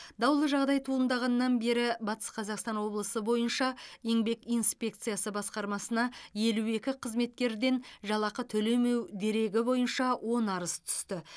даулы жағдай туындағаннан бері батыс қазақстан облысы бойынша еңбек инспекциясы басқармасына елу екі қызметкерден жалақы төлемеу дерегі бойынша он арыз түсті